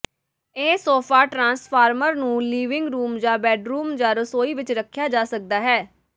ਇਹ sofa transformer ਨੂੰ living room ਜਾਂ ਬੈੱਡਰੂਮ ਜਾਂ ਰਸੋਈ ਵਿੱਚ ਰੱਖਿਆ ਜਾ ਸਕਦਾ ਹੈ